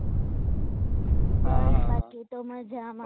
બસ બાકી તો મજામાં